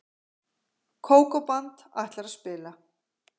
Kókó-band ætlar að spila.